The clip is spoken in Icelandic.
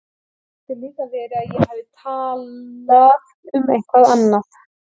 Það getur líka verið að ég hafi talað um eitthvað annað.